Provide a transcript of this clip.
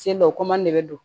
Sen dɔ o de bɛ don